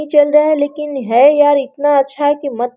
ये चल रहा है लेकिन है यार इतना अच्छा है कि मत --